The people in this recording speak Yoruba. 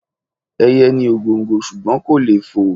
Ẹyẹ ni ògòǹgò ṣùgbọ́n kò lè fò.